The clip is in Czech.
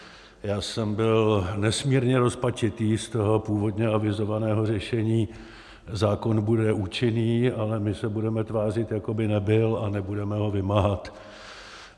Já jsem byl nesmírně rozpačitý z toho původně avizovaného řešení: zákon bude účinný, ale my se budeme tvářit, jako by nebyl, a nebudeme ho vymáhat.